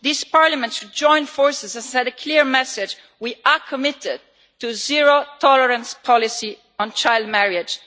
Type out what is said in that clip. This Parliament should join forces and send a clear message we are committed to a zero tolerance policy on child marriage.